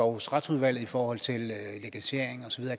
hos retsudvalget i forhold til legalisering og så